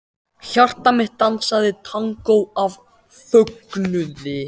Hjarta mitt dansaði tangó af fögnuði.